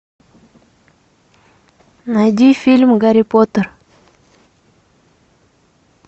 найди фильм гарри поттер